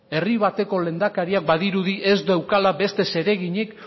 herri bateko lehendakariak badirudi ez daukala beste zereginik